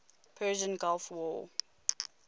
persian gulf war